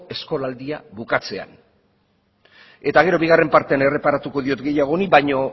eskolaldia bukatzean eta gero bigarren partean erreparatuko diot gehiago honi baina